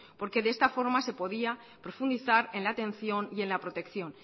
porque de esta forma se podía profundizar en la atención y en la protección